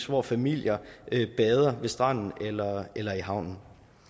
hvor familier bader fra stranden eller eller i havnen